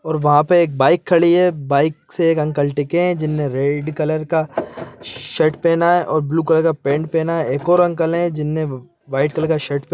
और वहाँ पे एक बाइक खड़ी है बाइक से एक अंकल टिकें है जिनने रेड कलर का शर्ट पहना है और ब्लू कलर का पैंट पहना एक और अंकल है जिनने व वाइट कलर का शर्ट पहना--